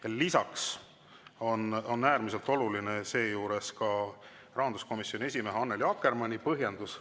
Ja lisaks on äärmiselt oluline ka rahanduskomisjoni esimehe Annely Akkermanni põhjendus.